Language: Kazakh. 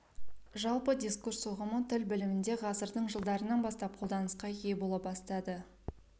жалпы дискурс ұғымы тіл білімінде ғасырдың жылдарынан бастап қолданысқа ие бола бастады